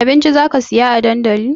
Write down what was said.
Abinci zaka saya a dandali?